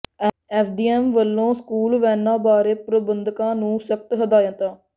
SDM ਵੱਲੋਂ school ਵੈਨਾਂ ਬਾਰੇ ਪ੍ਰਬੰਧਕਾਂ ਨੂੰ ਸਖ਼ਤ ਹਦਾਇਤਾਂ